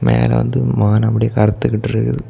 மேல வந்து வானம் அப்படியே கருத்துகிட்டு இருக்குது.